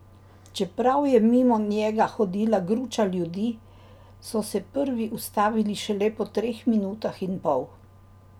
Čeprav je mimo njega hodila gruča ljudi, so se prvi ustavili šele po treh minutah in pol!